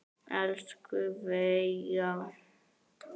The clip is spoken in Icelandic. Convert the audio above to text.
Elsku Veiga.